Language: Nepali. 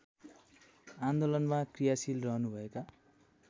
आन्दोलनमा क्रियाशील रहनुभएका